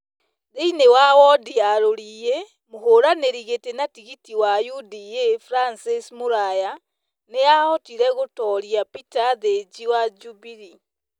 Thĩinĩ wa wondi ya Rũriĩ, mũhũranĩri gĩtĩ na tigiti wa UDA Francis Mũraya nĩ ahotire gũtooria Peter Thĩnjĩ wa Jubilee.